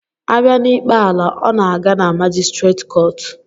Abia n'ikpe ala, ọ na-aga na majistreet kọọtụ